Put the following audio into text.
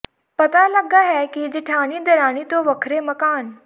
ਪਤਾ ਲੱਗਾ ਹੈ ਕਿ ਜੇਠਾਣੀ ਦਰਾਣੀ ਤੋਂ ਵੱਖਰੇ ਮਕਾਨ